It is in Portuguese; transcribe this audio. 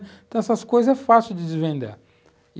Então essas coisas é fácil de desvendar.